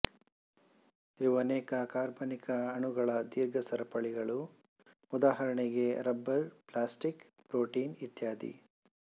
ಇವು ಅನೇಕ ಕಾರ್ಬನಿಕ ಅಣುಗಳ ದೀರ್ಘ ಸರಪಳಿಗಳು ಉದಾಹರಣೆಗೆ ರಬ್ಬರ್ ಪ್ಲಾಸ್ಟಿಕ್ ಪ್ರೋಟೀನು ಇತ್ಯಾದಿ